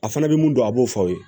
A fana bɛ mun dɔn a b'o fɔ aw ye